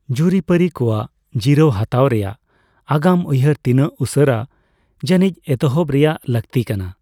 ᱡᱩᱨᱤᱼᱯᱟᱹᱨᱤ ᱠᱚᱣᱟᱜ ᱡᱤᱨᱟᱹᱣ ᱦᱟᱛᱟᱣ ᱨᱮᱭᱟᱜ ᱟᱜᱟᱢ ᱩᱭᱦᱟᱹᱨ ᱛᱤᱱᱟᱹᱜ ᱩᱥᱟᱹᱨᱟ ᱡᱟᱹᱱᱤᱡ ᱮᱛᱦᱚᱵ ᱨᱮᱭᱟᱜ ᱞᱟᱹᱠᱛᱤ ᱠᱟᱱᱟ ᱾